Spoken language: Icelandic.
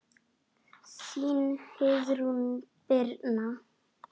Þín Heiðrún Birna.